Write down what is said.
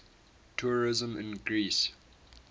tourism in greece